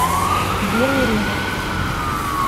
белый рынок